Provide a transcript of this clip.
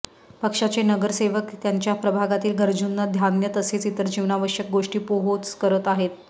पक्षाचे नगरसेवक त्यांच्या प्रभागातील गरजूंना धान्य तसेच इतर जीवनावश्यक गोष्टी पोहोच करत आहेत